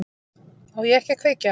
Á ég ekki að kveikja?